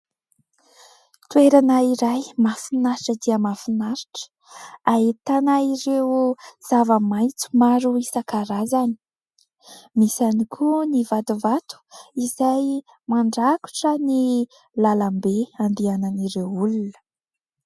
Toerana iray mahafinaritra dia mahafinaritra, ahitana ireo zava-maitso maro isan-karazany. Misy ihany koa ny vatovato izay mandrakotra ny lalambe izay andehanan'ireo olona.